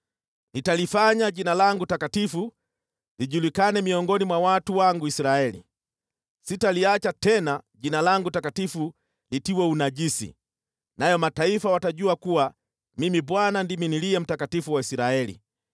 “ ‘Nitalifanya Jina langu takatifu lijulikane miongoni mwa watu wangu Israeli. Sitaliacha tena Jina langu takatifu litiwe unajisi, nayo mataifa watajua kuwa Mimi Bwana ndimi Aliye Mtakatifu wa Israeli.